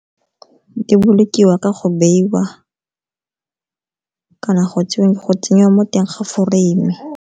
Di bolokiwa ka go beiwa kana go tsenya mo teng ga foreime.